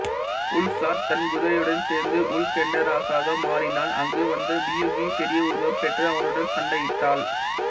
உல்சார்ட் தன் குதிரையுடன் சேர்ந்து உல்கென்டரஸாக மாறினான் அங்கு வந்த மியுகி பெரிய உருவம் பெற்று அவனுடன் சண்டையிட்டாள்